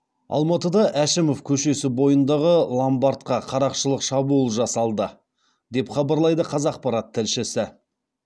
алматыда әшімов көшесі бойындағы ломбардқа қарақшылық шабуыл жасалды деп хабарлайды қазақпарат тілшісі